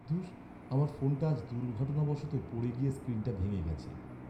ধুস, আমার ফোনটা আজ দুর্ঘটনাবশত পড়ে গিয়ে স্ক্রিনটা ভেঙে গেছে।